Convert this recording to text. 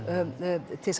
til